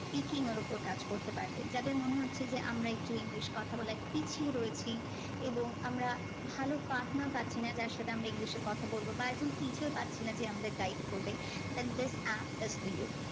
speaking এর ওপর কাজ করতে পারবে যাদের মনে হচ্ছে যে আমরা একটু English কথা বলায় পিছিয়ে রয়েছি এবং আমরা ভালো partner পাচ্ছি না যার সাথে আমরা English এ কথা বলবো বা একজন teacher পাচ্ছি না যে আমাদের guide করবে then this app is for you